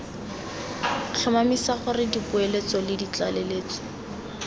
tlhomamisa gore dipoeletso le ditlaleletso